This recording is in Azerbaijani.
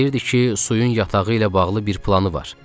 Deyirdi ki, suyun yatağı ilə bağlı bir planı var.